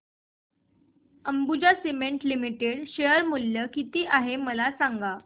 Ambuja cements limited share मूल्य किती आहे मला सांगा